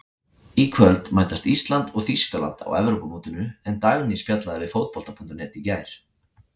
Í kvöld mætast Ísland og Þýskaland á Evrópumótinu en Dagný spjallaði við Fótbolta.net í gær.